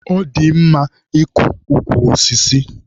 Ọ dị mma ịkọ ukwu osisi.